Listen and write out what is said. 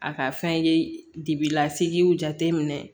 A ka fɛn ye dibi la sigiw jate minɛ